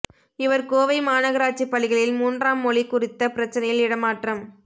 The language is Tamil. இவர் கோவை மாநகராட்சி பள்ளிகளில் மூன்றாம் மொழி குறித்த பிரச்னையில் இடமாற்றம்